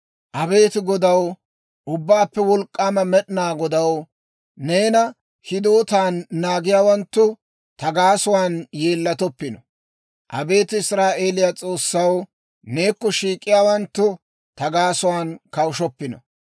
Abeet Godaw, Ubbaappe Wolk'k'aama Med'inaa Godaw, neena hidootan naagiyaawanttu, ta gaasuwaan yeellatoppino. Abeet Israa'eeliyaa S'oossaw, neekko shiik'iyaawanttu ta gaasuwaan kawushoppino.